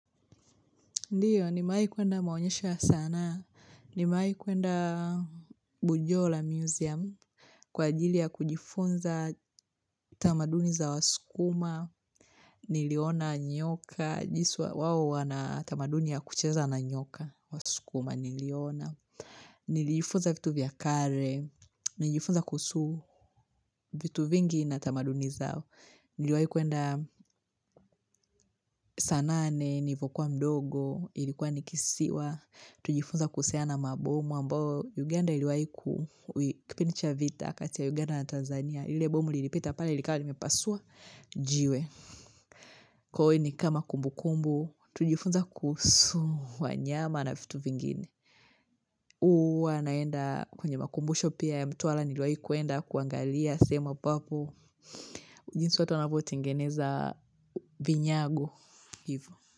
Ndio, nimewahi kuenda maonyesho ya sanaa, nimewahi kuenda Bujola Museum, kwa ajili ya kujifunza tamaduni za waskuma, niliona nyoka. Wao wana tamaduni ya kucheza na nyoka. Waskuma niliona. Nilijifunza vitu vya kale, nilijifunza kuhusu vitu vingi na tamaduni zao. Niliwahi kuenda saa nane, nilivyokuwa mdogo, ilikuwa nikisiwa. Tulijifunza kuhusiana na mabomu ambao Uganda iliwahi. Kipindi cha vita kati ya Uganda na Tanzania. Ile bomu lilipita pale likawa limepasua, jiwe. Kwa hivo ni kama kumbu kumbu, tujifunza kuhusu, wanyama na vitu vingine. Huwa ninaenda kwenye makumbusho pia ya mtuwala kuangalia sema papu jinsi watu wanavyotengeneza vinyago.